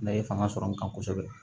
N'a ye fanga sɔrɔ n kan kosɛbɛ